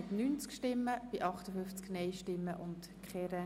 Wir kommen zum Block 3d. Steuern.